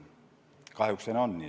Kahjuks on see nii.